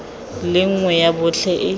le nngwe ya botlhe e